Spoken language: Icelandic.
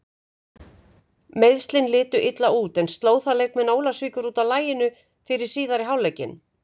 Meiðslin litu illa út en sló það leikmenn Ólafsvíkur út af laginu fyrir síðari hálfleikinn?